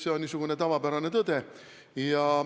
See on niisugune tavapärane tõde.